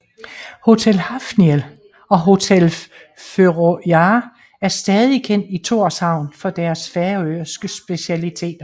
Hotel Hafnia og Hotel Føroyar er stadig kendt i Tórshavn for deres færøske specialiteter